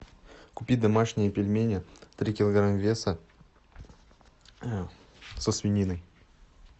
купи домашние пельмени три килограмма веса со свининой